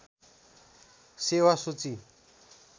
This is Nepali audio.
सेेवा सूची